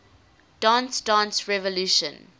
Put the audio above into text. dance dance revolution